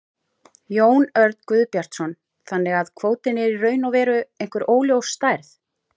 Jón Örn Guðbjartsson: Þannig að kvótinn er í raun og veru einhver óljós stærð?